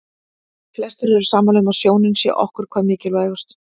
Flestir eru sammála um að sjónin sé okkur hvað mikilvægust.